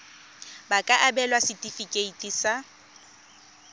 ba ka abelwa setefikeiti sa